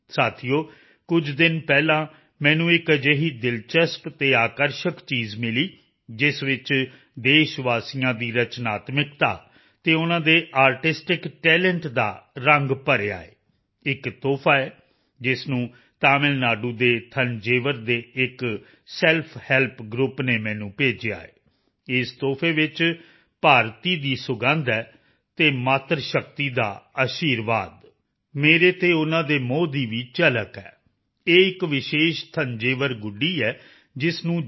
ਸਾਥੀਓ ਕੁਝ ਦਿਨ ਪਹਿਲਾਂ ਮੈਨੂੰ ਇੱਕ ਅਜਿਹੀ ਦਿਲਚਸਪ ਅਤੇ ਆਕਰਸ਼ਕ ਚੀਜ਼ ਮਿਲੀ ਜਿਸ ਵਿੱਚ ਦੇਸ਼ਵਾਸੀਆਂ ਦੀ ਰਚਨਾਤਮਕਤਾ ਅਤੇ ਉਨ੍ਹਾਂ ਦੇ ਆਰਟਿਸਟਿਕ ਟੈਲੰਟ ਦਾ ਰੰਗ ਭਰਿਆ ਹੈ ਇੱਕ ਤੋਹਫ਼ਾ ਹੈ ਜਿਸ ਨੂੰ ਤਮਿਲ ਨਾਡੂ ਦੇ ਤੰਜਾਵੁਰ ਥੰਜਾਵੁਰ ਦੇ ਇੱਕ ਸੈਲਫ ਹੈਲਪ ਗਰੁੱਪ ਨੇ ਮੈਨੂੰ ਭੇਜਿਆ ਹੈ ਇਸ ਤੋਹਫ਼ੇ ਵਿੱਚ ਭਾਰਤੀ ਦੀ ਸੁਗੰਧ ਹੈ ਅਤੇ ਮਾਤਰ ਸ਼ਕਤੀ ਦਾ ਅਸ਼ੀਰਵਾਦ ਮੇਰੇ ਤੇ ਉਨ੍ਹਾਂ ਦੇ ਮੋਹ ਦੀ ਵੀ ਝਲਕ ਹੈ ਇਹ ਇੱਕ ਵਿਸ਼ੇਸ਼ ਤੰਜਾਵੁਰ ਗੁੱਡੀ ਹੈ ਜਿਸ ਨੂੰ ਜੀ